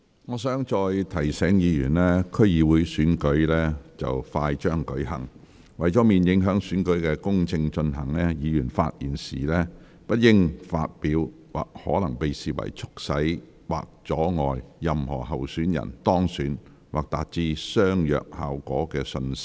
我再提醒議員，區議會選舉快將舉行，為免影響選舉公正進行，議員發言時不應發表可能被視為促使或阻礙任何候選人當選或達致相若效果的信息。